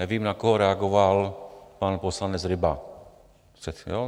Nevím, na koho reagoval pan poslanec Ryba.